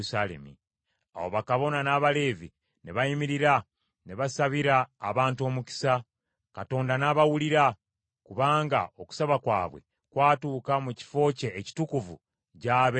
Awo bakabona n’Abaleevi ne bayimirira ne basabira abantu omukisa, Katonda n’abawulira; kubanga okusaba kwabwe kwatuuka mu kifo kye ekitukuvu gy’abeera, mu ggulu.